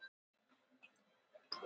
Nú sé allt önnur staða